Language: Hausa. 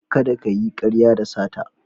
Kada kayi karya da sata.